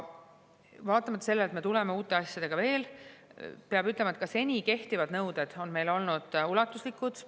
Kuigi me tuleme uute asjadega välja, peab ütlema, et ka seni kehtivad nõuded on meil olnud ulatuslikud.